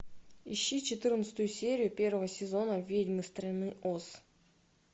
ищи четырнадцатую серию первого сезона ведьмы страны оз